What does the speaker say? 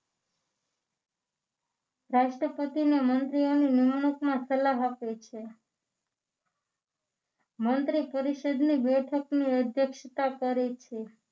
રાષ્ટ્રપતિને મંત્રીઓની નિમણૂકમાં સલાહ આપે છે મંત્રી પરિષદની બેઠકની અધ્યક્ષતા કરે છે